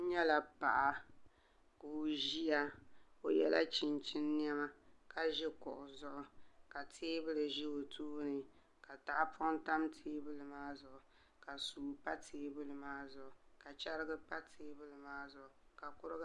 N nyɛla Paŋa ka o ʒiya o yɛla chinchin niɛma ka ʒi kuɣu zuɣu ka teebuli ʒɛ o tooni ka tahapoŋ tam teebuli maa zuɣu ka suu pa teebuli maa zuɣu ka chɛrigi pa teebuli maa zuɣu ka kuriga